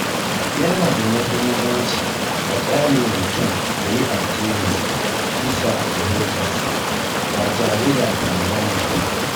Yana da muhimmanci a ƙyale mutum ya yi addininsa bisa fahimtarsa ba tare da tsangwama ba.